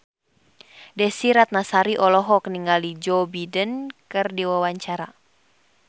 Desy Ratnasari olohok ningali Joe Biden keur diwawancara